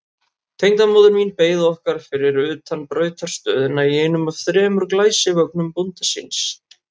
Tengdamóðir mín beið okkar fyrir utan brautarstöðina í einum af þremur glæsivögnum bónda síns.